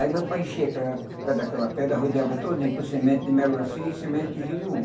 Aí meu pai enchia aquela pé daquela pedra, rodeava todinho com semente de melancia e semente de gerimum.